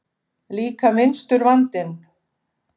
Líka minnstur vandinn.